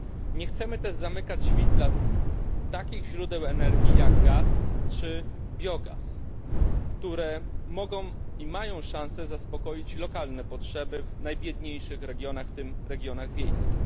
Nie chcemy też zamykać drzwi dla takich źródeł energii jak gaz czy biogaz, które mogą i mają szansę zaspokoić lokalne potrzeby w najbiedniejszych regionach, w tym regionach wiejskich.